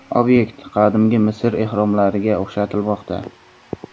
Obyekt Qadimgi Misr ehromlariga o‘xshatilmoqda.